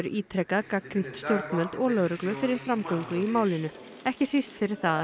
ítrekað gagnrýnt stjórnvöld og lögreglu fyrir framgöngu í málinu ekki síst fyrir það að